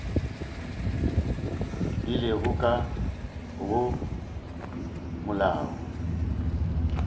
di lego ka go molao